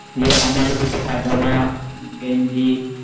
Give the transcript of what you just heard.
ইয়ে আমার ও দুটো পাজামা গেঞ্জি